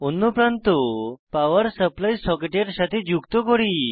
অন্য প্রান্ত power supply সকেটের সাথে যুক্ত করি